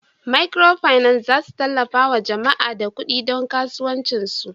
"microfinance" zasu tallafawa jama'a da kudi don kasuwanci su.